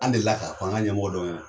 An delila k'a f'an ka ɲɛmɔgɔ dɔ ɲɛna